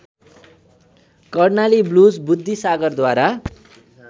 Karnali blues बुद्धिसागरद्वारा